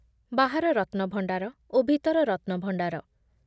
ବାହାର ରତ୍ନଭଣ୍ଡାର ଓ ଭିତର ରତ୍ନଭଣ୍ଡାର ।